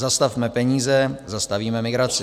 Zastavme peníze - zastavíme migraci!